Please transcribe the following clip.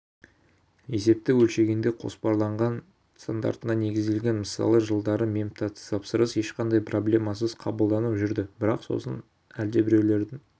есепті өлшегенде қосарланған стандартына негізделген мысалы жылдары мемтапсырыстар ешқандай проблемасыз қабылданып жүрді бірақ сосын әлдебіреулердің